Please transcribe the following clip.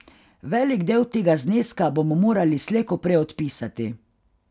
Velik del tega zneska bomo morali slej ko prej odpisati.